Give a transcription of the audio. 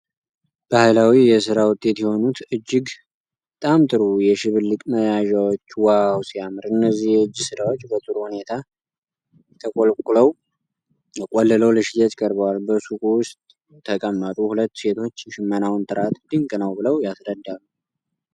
ባህላዊ የሥራ ውጤት የሆኑት እጅግ በጣም ጥሩ የሽብልቅ መያዣዎች ዋው ሲያምር! እነዚህ የእጅ ሥራዎች በጥሩ ሁኔታ ተቆልለው ለሽያጭ ቀርበዋል። በሱቁ ውስጥ የተቀመጡ ሁለት ሴቶች የሽመናውን ጥራት ድንቅ ነው ብለው ያስረዳሉ።